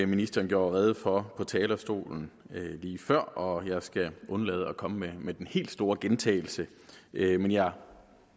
ministeren gjorde rede for på talerstolen lige før og jeg skal undlade at komme med den helt store gentagelse men jeg